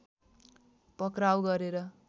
पक्राउ गरेर